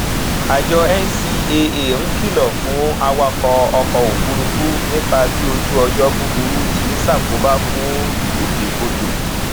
ṣóra fún àǹfààní ìdíkòòwò èyíkéyìí tó lè mú kó o rí èrè tó pò ganan láàárín àkókò kúkúrú